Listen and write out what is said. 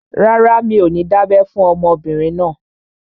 Rárá, mi ò ní dábẹ́ fún ọmọbìnrin náà